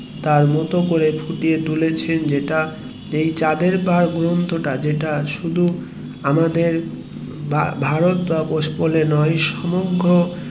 তার মতো করে ফুটিয়ে তুলেছেন যেতে এই চাঁদের পাহাড় গ্রন্থ টা শুধু আমাদের বা ভারত বা ওয়েস্ট বেঙ্গল এ নয় সমগ্র